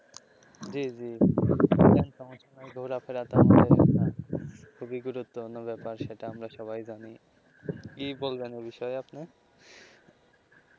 জী জী ঘোরাফেরা থাকবে অন্য ব্যাপার সেটা আমরা সবাই জানি কি বলবেন ওই বিষয়ে আপনি.